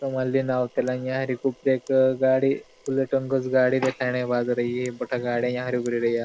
समान लीने आवता रिया यहाँ एक अरी गाड़ी बुलेट अंगज गाड़ी देखाण बाजरई ये बठा गाड़ी यहाँ उबरि रया --